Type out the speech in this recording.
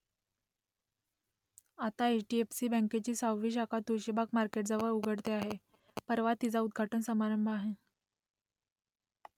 आता H . D . F . C . बँकेची सहावी शाखा तुळशीबाग मार्केटजवळ उघडते आहे , परवा तिचा उद्घाटन समारंभ आहे